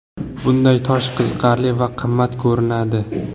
Bunday tosh qiziqarli va qimmat ko‘rinadi.